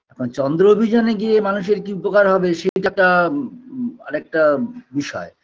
এখন চন্দ্র অভিযানে গিয়ে মানুষের কী উপকার হবে সে টা উ উ আরেকটা বিষয়